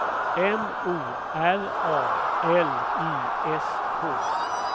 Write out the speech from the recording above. M O R A L I S K